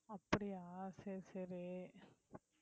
அப்படியா சரி சரி